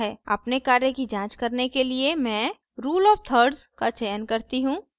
अपने कार्य की जांच करने के लिए मैं rule of thirds का चयन करती हूँ